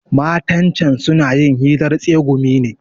Matan can suna yin hirar tsegumi ne.